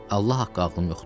Allah haqqı ağlım yoxdur.